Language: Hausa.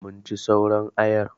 Mun ci sauran ayar.